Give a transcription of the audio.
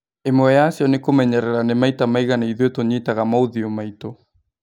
Ĩmwe yacio nĩ kũmenyerera nĩ maita maigana ithuĩ tũnyitaga maũthiũ maitũ